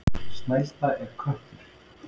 Snælda er köttur.